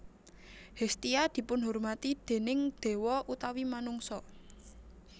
Hestia dipunhormati déning dewa utawi manungsa